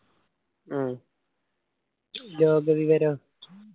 ഉം ലോക വിവരോ